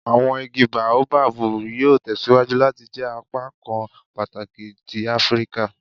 Awọn igi Baobabu yoo tẹsiwaju lati jẹ apakan pataki ti Afirika